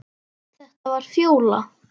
Þetta var Fjóla.